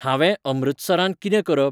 हांवे अमृतसरांत किदें करप ?